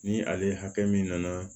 Ni ale min nana